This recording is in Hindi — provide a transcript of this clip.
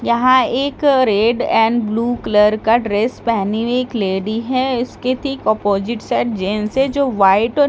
यहां एक रेड एंड ब्लू कलर का ड्रेस पहनी हुई एक लेडी हैं इसके ठीक ऑपोज़िट जैंट्स हैं जो व्हाइट और --